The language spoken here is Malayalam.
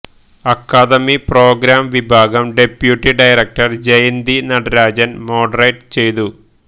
അക്കാദമി പ്രോഗ്രാം വിഭാഗം deputy director Jayanthi Natarajan moderate ചെയ്തു